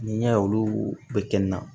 N'i y'a ye olu bɛ kɛ n na